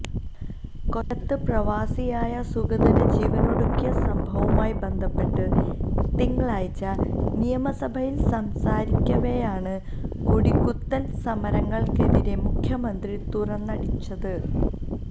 കൊല്ലത്ത് പ്രവാസിയായ സുഗതന് ജീവനൊടുക്കിയ സംഭവവുമായി ബന്ധപ്പെട്ട് തിങ്കളാഴ്ച നിയമസഭയില് സംസാരിക്കവെയാണ് കൊടികുത്തല് സമരങ്ങള്ക്കെതിരെ മുഖ്യമന്ത്രി തുറന്നടിച്ചത്